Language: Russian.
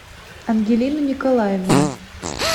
ангелину николаевну